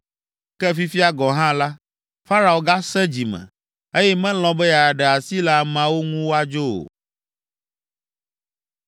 Ke fifia gɔ̃ hã la, Farao gasẽ dzi me, eye melɔ̃ be yeaɖe asi le ameawo ŋu woadzo o.